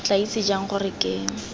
tla itse jang gore ke